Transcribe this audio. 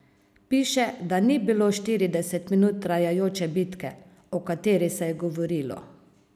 Piše, da ni bilo štirideset minut trajajoče bitke, o kateri se je govorilo.